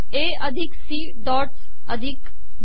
ए अिधक C dots अिधक बी